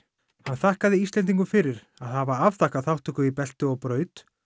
hann þakkaði Íslendingum fyrir að hafa afþakkað þátttöku í belti og braut